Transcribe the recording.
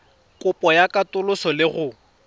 kopo ya katoloso le go